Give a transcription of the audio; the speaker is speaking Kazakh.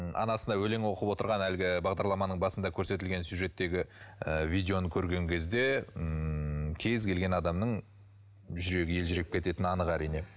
анасына өлең оқып отырған әлгі бағдарламаның басында көретілген сюжеттегі ы видеоны көрген кезде ммм кез келген адамның жүрегі елжіреп кететіні анық әрине